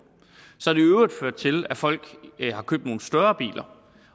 så har det i øvrigt ført til at folk har købt nogle større biler